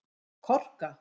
Korka